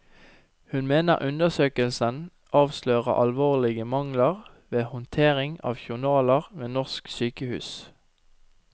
Hun mener undersøkelsen avslører alvorlige mangler ved håndtering av journaler ved norske sykehus.